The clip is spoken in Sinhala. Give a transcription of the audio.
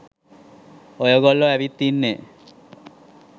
ඔයගොල්ලො ඇවිත් ඉන්නේ.